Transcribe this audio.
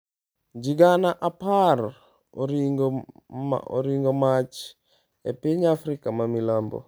Ji gana apar oringo mach e piny Afrika ma Milambo